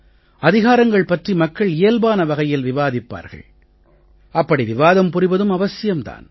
அதிகாரங்கள் பற்றி மக்கள் இயல்பான வகையில் விவாதிப்பார்கள் அப்படி விவாதம் புரிவதும் அவசியம் தான்